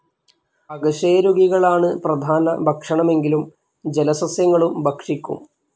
അകശേരുകികളാണ് പ്രധാന ഭക്ഷണമെങ്കിലും ജലസസ്യങ്ങളും ഭക്ഷിക്കും.